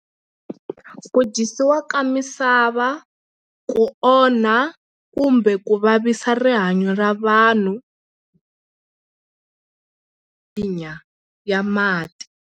Ku dyisiwa ka misava ku onha kumbe ku vavisa rihanyo ra vanhu ya mati.